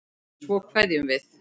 Svo kveðjum við.